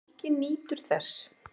Helgi nýtur þess.